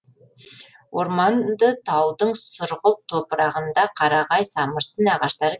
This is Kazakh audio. орманды таудың сұрғылт топырағында қарағай самырсын ағаштары